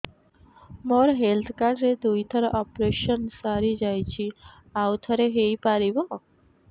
ମୋର health card ରେ ଦୁଇ ଥର ଅପେରସନ ସାରି ଯାଇଛି ଆଉ ଥର ହେଇପାରିବ